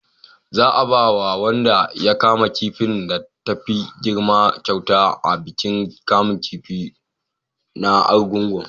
za a ba wanda ya kama kifin da ta fi girma kyauta a bikin kamun kifi na argungu